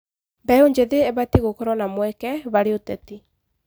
Mbeũ njĩthĩ ĩbatiĩ gũkorwo na mweke harĩ ũteti.